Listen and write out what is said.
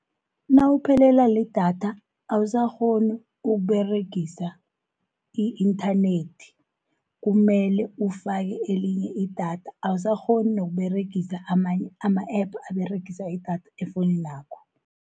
Nawuphelela lidatha awusakghoni ukuberegisa i-inthanethi, kumele ufake elinye idatha. Awusakghoni nokuberegisa amanye ama-app aberegisa idatha efowuninakho.